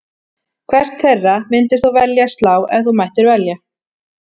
Hvert þeirra myndir þú velja að slá ef þú mættir velja?